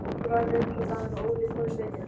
Svo rann upp sá dagur að Óli fór í sveitina.